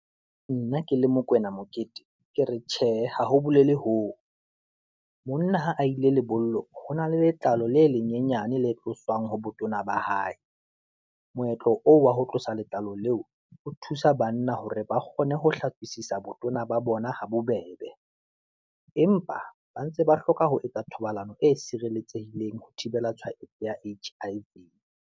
Nna ke le Mokoena Mokete, ke re tjhe, ha ho bolele hoo, monna ha a ile lebollo, ho na le letlalo le lenyenyane le tloswang ho botona ba hae, moetlo oo wa ho tlosa le letlalo leo, o thusa banna hore ba kgone ho hlatswisise botona ba bona habobeb. Empa ba ntse ba hloka ho etsa thobalano e sireletsehileng ho thibela tshwaetso ya HIV.